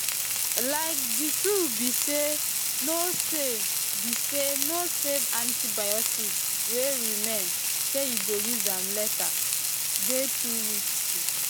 like the truth be say no save be saybno save antibiotics wey remain say you go use am later dey too risky